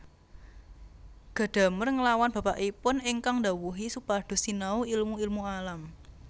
Gadamer nglawan bapakipun ingkang ndhawuhi supados sinau ilmu ilmu alam